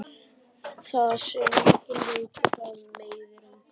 Það sem enginn veit það meiðir engan.